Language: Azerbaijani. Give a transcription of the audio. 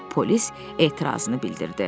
deyə polis etirazını bildirdi.